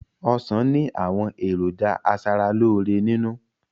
Ọ̀sán ni àwọn èròjà asaraloore nínú